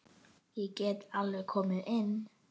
Ég get alveg komið inn.